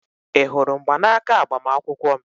Ị hụrụ mgbanaka agbamakwụkwọ m?